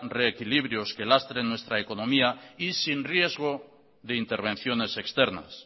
reequilibrios que lastren nuestra economía y sin riesgo de intervenciones externas